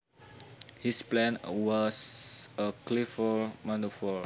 His plan was a clever manoeuvre